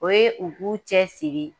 O ye u k'u cɛsiri